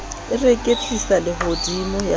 e reketlisa lehodimo ya ba